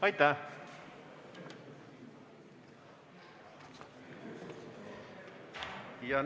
Aitäh!